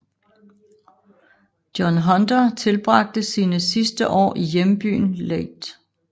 John Hunter tilbragte sine sidste år i hjembyen Leith